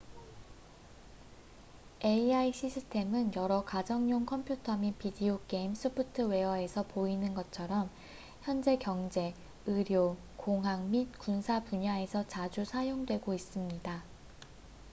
ai 시스템은 여러 가정용 컴퓨터 및 비디오 게임 소프트웨어에서 보이는 것처럼 현재 경제 의료 공학 및 군사 분야에서 자주 사용되고 있습니다